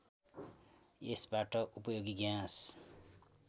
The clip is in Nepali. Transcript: यसबाट उपयोगी ग्याँस